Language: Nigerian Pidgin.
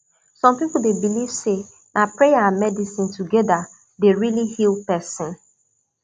some people dey believe say na prayer and medicine together dey really heal person